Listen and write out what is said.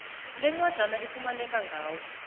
lencwajana ifumaneka ngawo